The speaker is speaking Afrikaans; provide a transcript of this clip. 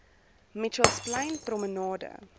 mitchells plain promenade